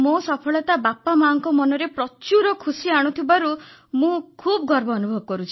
ମୋ ସଫଳତା ବାପାମାଆଙ୍କ ମନରେ ପ୍ରଚୁର ଖୁସି ଆଣିଥିବାରୁ ମୁଁ ଖୁବ୍ ଗର୍ବ ଅନୁଭବ କରୁଛି